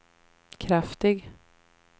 kraftig